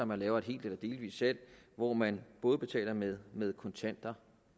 man laver et helt eller delvist salg hvor man både betaler med med kontanter